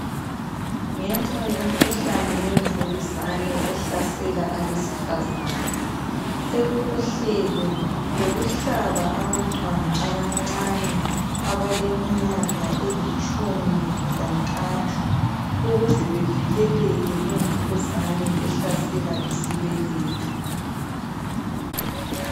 Ngenxa yomkhuhkane wemvukuzane ohlasela abesifazana sokulohlelo lokuhlaba abantwana abancane abaleminyaka elitshumi lantathu ukuze bevikeleke kumvukuzane ehlasela isibeletho.